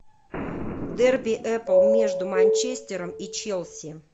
дерби апл между манчестером и челси